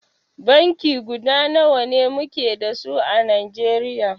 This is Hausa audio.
Banki guda nawa muke da su à Najeriya.